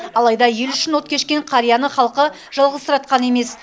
алайда елі үшін от кешкен қарияны халқы жалғызсыратқан емес